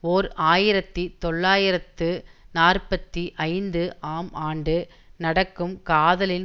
ஓர் ஆயிரத்தி தொள்ளாயிரத்து நாற்பத்தி ஐந்து ஆம் ஆண்டு நடக்கும் காதலின்